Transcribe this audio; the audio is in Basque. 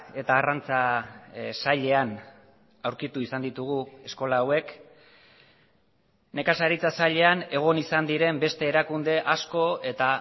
eta arrantza sailean aurkitu izan ditugu eskola hauek nekazaritza sailean egon izan diren beste erakunde asko eta